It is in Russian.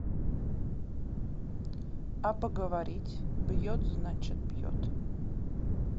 а поговорить бьет значит бьет